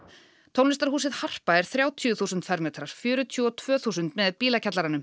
tónlistarhúsið Harpa er þrjátíu þúsund fermetrar fjörutíu og tvö þúsund með